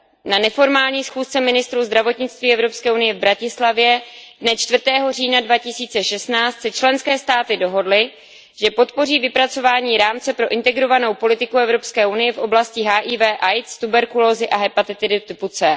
Na neformální schůzce ministrů zdravotnictví Evropské unie v Bratislavě dne 4. října 2016 se členské státy dohodly, že podpoří vypracování rámce pro integrovanou politiku Evropské unie v oblasti HIV AIDS, tuberkulózy a hepatitidy typu C.